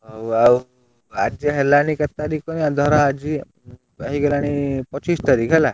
ହଉ ଆଉ ଆଜି ହେଲାଣି କେତେ ତାରିଖ କହନି ଧର ଆଜି ହେଇଗଲାଣି ପଚିଶ ତାରିଖ ହେଲା।